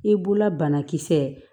I b'ola banakisɛ